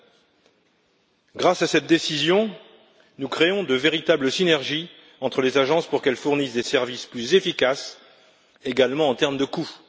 À travers cette décision, nous créons de véritables synergies entre les agences pour qu'elles fournissent des services plus efficaces, également en termes de coûts.